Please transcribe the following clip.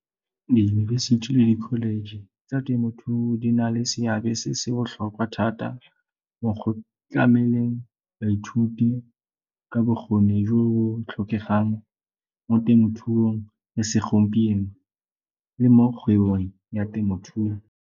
Diyunibesithi le di-college tsa temothuo di na le seabe se se botlhokwa thata mo go tlameleng baithuti ka bokgoni jo bo tlhokegang mo temothuong ya segompieno le mo kgwebong ya temothuo.